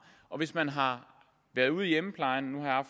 og hvis man har været ude i hjemmeplejen nu har